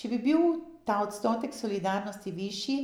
Če bi bil ta odstotek solidarnosti višji,